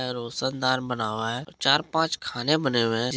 यह रोशनदान बना हुआ है चार पाँच खाने बने हुए हैं।